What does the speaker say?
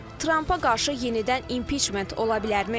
Tramp-a qarşı yenidən impiçment ola bilərmi?